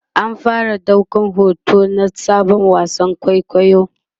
an fara daukar hoto na Sabon wasan kwaikwayon